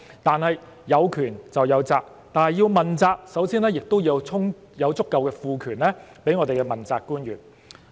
但是，有權就有責，要問責，首先要賦予足夠的權力給我們的問責官員。